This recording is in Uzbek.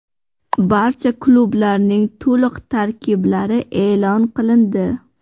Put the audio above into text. Barcha klublarning to‘liq tarkiblari e’lon qilindi.